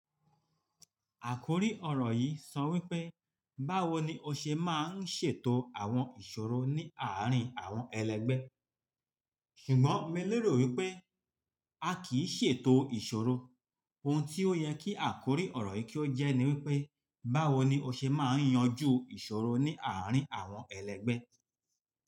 Àkòrí ọ̀rọ̀ yìí sọ wípé, báwo ni ó ṣe máa ń ṣètò àwọn ìṣòro ní àárín àwọn ẹlẹgbẹ́. Ṣùgbọ́n mí lérò wípé a kì í ṣètò ìṣòro. Ohun tí ó yẹ kí àkòrí ọ̀rọ̀ yìí kí ó jẹ́ ni wípé, báwo ni ó ṣe máa ń yanjú ìṣòro ní àárín àwọn ẹlẹgbẹ́.